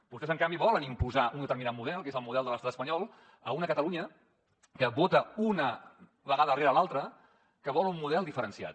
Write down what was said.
vostès en canvi volen imposar un determinat model que és el model de l’estat espanyol a una catalunya que vota una vegada rere l’altra que vol un model diferenciat